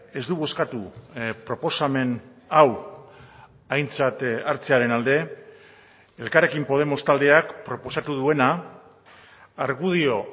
ez du bozkatu proposamen hau aintzat hartzearen alde elkarrekin podemos taldeak proposatu duena argudio